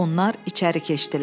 Onlar içəri keçdilər.